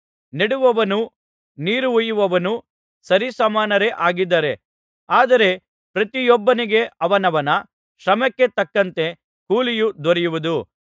ನೆಡುವವನೂ ನೀರು ಹೊಯ್ಯುವವನೂ ಸರಿಸಮಾನರೇ ಆಗಿದ್ದಾರೆ ಆದರೆ ಪ್ರತಿಯೊಬ್ಬನಿಗೆ ಅವನವನ ಶಮ್ರಕ್ಕೆ ತಕ್ಕಂತೆ ಕೂಲಿಯು ದೊರೆಯುವುದು